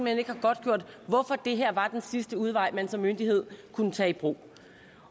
hen ikke har godtgjort hvorfor det her var den sidste udvej man som myndighed kunne tage i brug